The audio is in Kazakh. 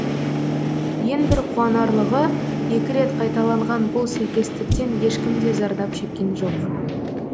ең бір қуанарлығы екі рет қайталанған бұл сәйкестіктен ешкім де зардап шеккен жоқ